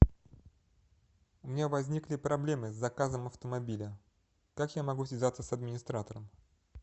у меня возникли проблемы с заказом автомобиля как я могу связаться с администратором